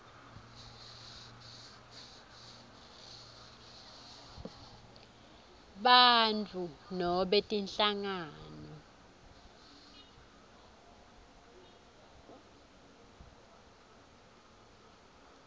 bantfu nobe tinhlangano